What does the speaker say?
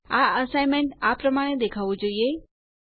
આ એસાઈનમેન્ટ આ પ્રમાણે દેખાવું જોઈએ